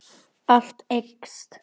Allt eykst.